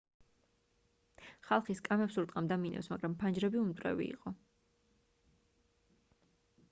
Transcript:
ხალხი სკამებს ურტყამდა მინებს მაგრამ ფანჯრები უმტვრევი იყო